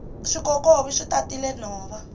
swikokovi swi tatile nhova